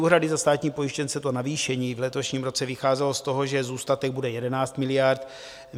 Úhrady za státní pojištěnce, to navýšení v letošním roce, vycházelo z toho, že zůstatek bude 11 miliard.